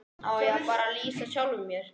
Á ég að fara að lýsa sjálfum mér?